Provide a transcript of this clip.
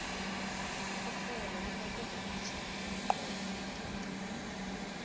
irholo linokuvakatjhelwa cobe mnyaka